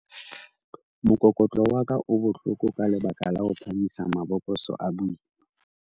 mokokotlo wa ka o bohloko ka lebaka la ho phahamisa mabokose a boima